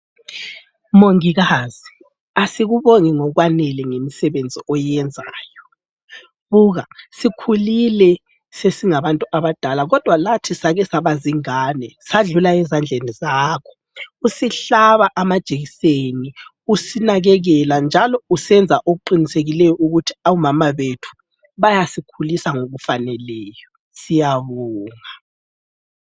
Mongikazi asikubongi ngokwanele ngemisebenzi oyenzayo. Buka sikhulile sesingabantu abadala kodwa lathi sake saba zingane sadlula ezandleni zakho usihlaba amajekiseni, usinakekela njalo usenza okuqinisekileyo ukuthi omama bethu bayasikhulisa ngokufaneleyo. Siyabonga!